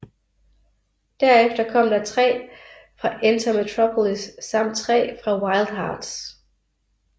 Derefter kom der tre fra Enter Metropolis samt tre fra Wild Hearts